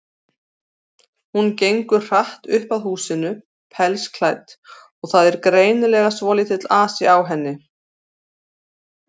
Hún gengur hratt upp að húsinu, pelsklædd, og það er greinilega svolítill asi á henni.